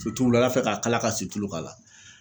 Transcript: wulada fɛ k'a kala ka situlu k'a la